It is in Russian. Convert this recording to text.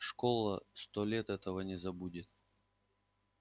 школа сто лет этого не забудет